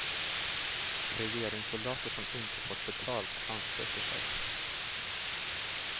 Regeringssoldater som inte fått betalt ansluter sig.